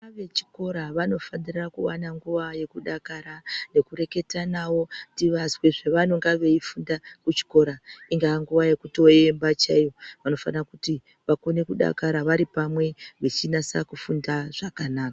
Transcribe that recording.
Vana vechikora vanofanira kuwana nguwa yekudakara nekureketa navo tivazwe zvavanenge veifunda kuchikora ingave nguva yekutoemba chaiyo vanofana kuti vakone kudakara varipamwe vechinasa kufunda zvakanaka.